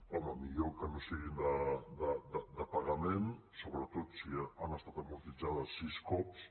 home millor que no siguin de pagament sobretot si han estat amortitzades sis cops